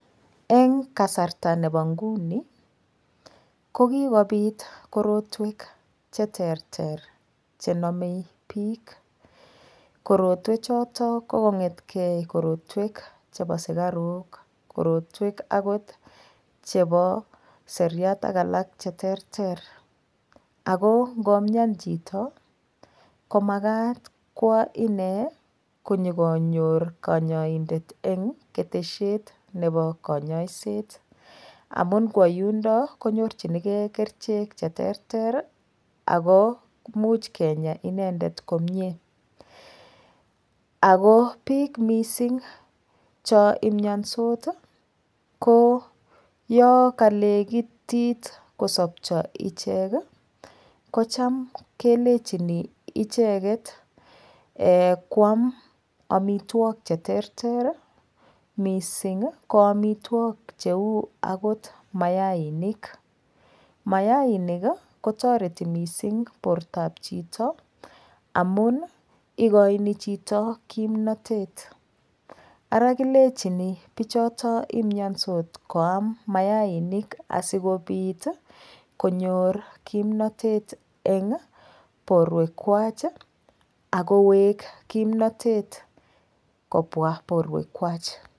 Eng' kasarta nebo nguni kokibit korotwek cheterter chenomei biik korotwe chotok kokong'etkei korotwek chebo sikarok korotwek akot chebo seriat ak alak cheterter ako ngomin chito komakat kwo ine konyikonyor kanyaidet eng' keteshet nebo kanyoiset amun ngwo yundok konyorchinigei kerichek cheterter ako muuch Kenya inendet komyee ako biik mising' cho imyonsot ko yokalekitit kosopcho ichek kocham kelechini icheget kwam omitwok cheterter mising' ko amitwok cheu akot mayainik mayainik kotoreti mising' bortoab chito amun ikoini chito kimnotet ara kilechini bichoton imyonsot koam mayainik asikobit konyor kimnotet eng' borwekwach akowek kimnotet kobwa borwekwach